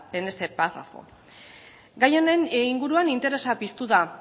en este párrafo gai honen inguruan interesa piztu da